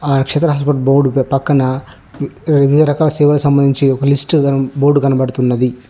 హ నక్షత్ర బోర్డు పక్కన వివిధరకాల సంబంధించి లిస్టు బోర్డు కనబడుతున్నది.